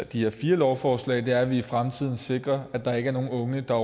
de her fire lovforslag er at vi i fremtiden sikrer at der ikke er nogen unge der